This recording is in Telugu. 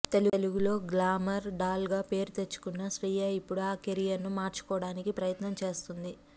తెలుగులో గ్లామర్ డాల్ గా పేరు తెచ్చుకున్న శ్రియ ఇప్పుడు ఆ కెరీర్ ని మార్చుకోవడానికి ప్రయత్నం చేస్తోంది